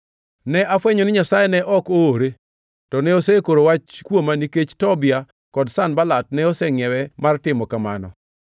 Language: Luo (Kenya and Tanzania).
Ne afwenyo ni Nyasaye ne ok oore, to ne osekoro wach kuoma nikech Tobia kod Sanbalat ne osengʼiewe mar timo kamano.